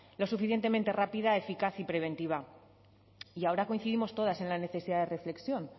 lo suficientemente rápida eficaz y preventiva y ahora coincidimos todas en la necesidad de reflexión